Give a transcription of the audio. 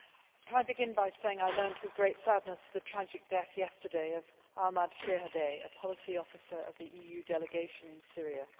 Can I begin by saying I learned with great sadness of the tragic death yesterday of Ahmad Shihadeh, a policy officer of the EU delegation in Syria.